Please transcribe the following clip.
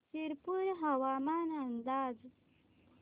शिरपूर हवामान अंदाज